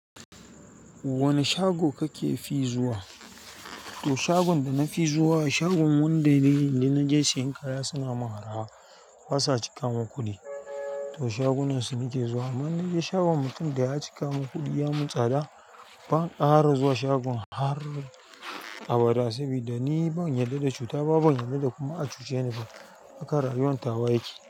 Wane shago kake fi zuwa? To shagon da nafi zuwa, shagon wanda dai in naje siyan kaya sunayi min araha basa cika min kuɗi to shagunan su nake zuwa. In naje shagon mutum da ya cika mun kuɗi ya mun tsada, ban ƙara zuwa shagon har abada. Saboda ni ban yarda da cuta ba, ban yarda da kuma a cuce ni ba. Haka rayuwar tawa yake.